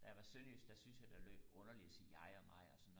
da jeg var sønderjysk der syntes jeg det lød underligt og sige jeg og mig og sådan